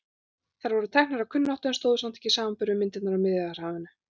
Þær voru teknar af kunnáttu en stóðust samt ekki samanburð við myndirnar frá Miðjarðarhafinu.